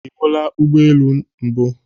Ị hụla ụgbọ elu mbụ?